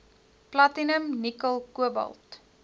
platinum nikkel kobalt